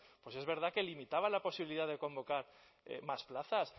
pues es verdad que limitaba la posibilidad de convocar más plazas